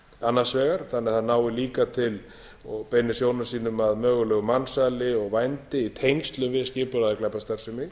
annars vegar þannig að það nái líka til og beini sjónum sínum að mögulegu mansali og vændi í tengslum við skipulagðra glæpastarfsemi